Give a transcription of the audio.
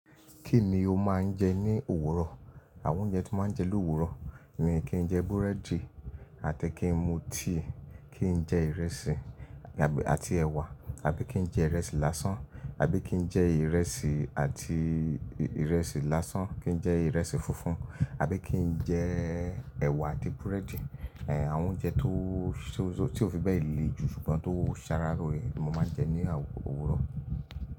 Kí ni o máa ń jẹ ní òwúrọ̀? Àwọn oúnjẹ tí mo máa ń jẹ ló́wúrọ̀ ni kí n jẹ búrẹ́dì àti kí n mú tíì, kí n jẹ ìrẹsì àti ẹ̀wà, àbí kí n jẹ ìrẹsì lásán, àbí kí n jẹ ìrẹsì àti ìrẹsì lásán, kí n jẹ ìrẹsì funfun, àbí kí n jẹ ẹ̀wà àti búrẹ́dì. Àwọn oúnjẹ tó tí ò fi bẹ́ẹ̀ le jù ṣùgbọ́n tó ṣàrà loore ni mo máa ń jẹ ní òwúrọ̀.